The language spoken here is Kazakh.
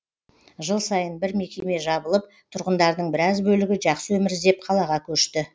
жыл сайын бір мекеме жабылып тұрғындардың біраз бөлігі жақсы өмір іздеп қалаға көшті